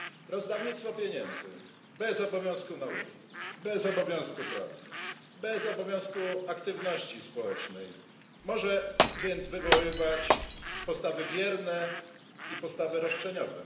Rozdawnictwo pieniędzy, bez obowiązku nauki, bez obowiązku pracy, bez obowiązku aktywności społecznej, może więc wywoływać postawy bierne i postawy roszczeniowe.